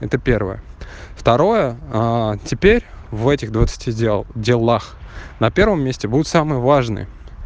это первое второе теперь в этих двадцати дел делах на первом месте будет самое важное